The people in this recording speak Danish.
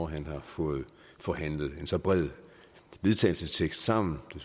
han har fået forhandlet en så bred vedtagelsestekst sammen det